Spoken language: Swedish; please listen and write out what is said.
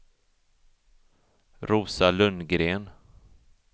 Rosa Lundgren